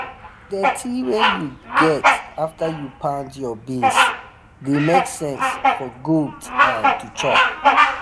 the dirty wa u get after u pound your beands the make sense for goat um to chop